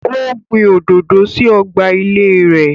Ó gbin òdòdó sí ọgbà ilée rē